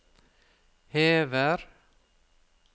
hever